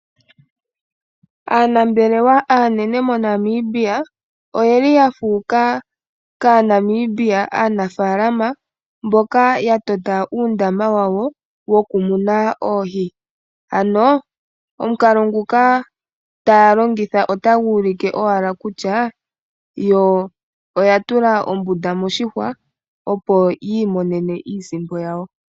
Aanambelewa aanene moNamibia, oye li yafuuka kaaNamibia aanafaalama, mboka ya tota uundama wawo, wo ku muna oohi, ano omukalo nguka taya longitha otagu ulike owala kutya yo oya tula ombunda moshihwa opo yi imonene iisimpo yayo .